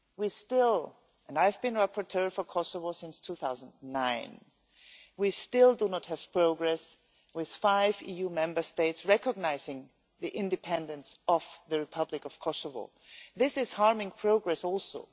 We still and I have been rapporteur for Kosovo since 2009 do not have progress with five EU Member States recognising the independence of the Republic of Kosovo. This is harming progress also.